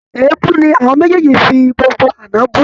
Èébú ni àwọn méjèèjì fi gbogbo àná bú